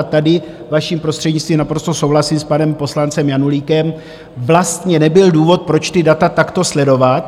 A tady, vaším prostřednictvím, naprosto souhlasím s panem poslancem Janulíkem, vlastně nebyl důvod, proč ta data takto sledovat.